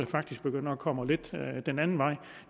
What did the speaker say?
faktisk begynder at komme lidt den anden vej